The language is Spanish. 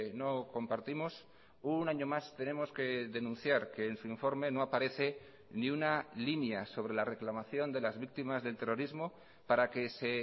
no compartimos un año más tenemos que denunciar que en su informe no aparece ni una línea sobre la reclamación de las víctimas del terrorismo para que se